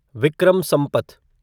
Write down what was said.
Vikram Sampath